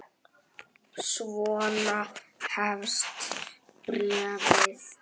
Svona hefst bréfið